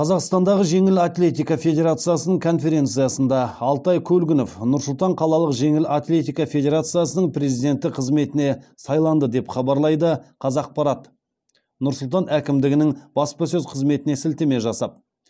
қазақстандағы жеңіл атлетика федерациясының конференциясында алтай көлгінов нұр сұлтан қалалық жеңіл атлетика федерациясының президенті қызметіне сайланды деп хабарлайды қазақпарат нұр сұлтан әкімдігінің баспасөз қызметіне сілтеме жасап